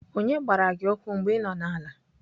Onye gbara gị ụkwụ mgbe ị nọ n'ala?